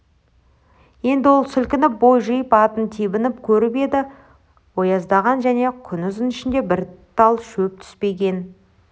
енді ол сілкініп бой жиып атын тебініп көріп еді еті ояздаған және күнұзын ішіне бір тал шөп түспеген